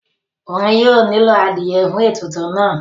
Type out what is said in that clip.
wọn yóò nílò adìẹ fún ètùtù náà